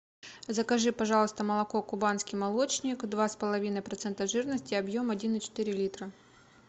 закажи пожалуйста молоко кубанский молочник два с половиной процента жирности объем один и четыре литра